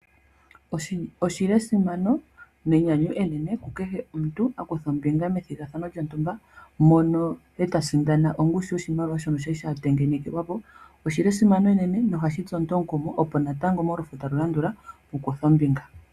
Oshi li esimano nenyanyu enene kukehe omuntu a kutha ombinga methigathano lyontumba mono e ta sindana oshimaliwa shoka shali sha tengenekelwa po. Oshi li esimano enene nohashi tsu omuntu omukumo, opo natango molufo talu landula a kuthe ombinga.